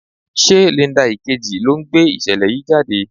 Ṣé Linda Ìkejì ló ń gbé ìṣẹ̀lẹ̀ yìí jáde?